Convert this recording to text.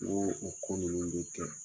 N ko o ko ninnu bɛ kɛ